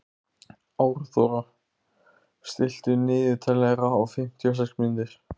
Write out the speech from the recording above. Árþóra, stilltu niðurteljara á fimmtíu og sex mínútur.